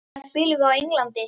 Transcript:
Hvenær spilum við á Englandi?